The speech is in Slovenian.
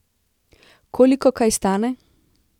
Koliko kaj stane?